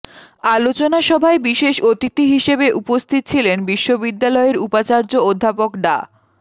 আলোচনা সভায় বিশেষ অতিথি হিসেবে উপস্থিত ছিলেন বিশ্ববিদ্যালয়ের উপাচার্য অধ্যাপক ডা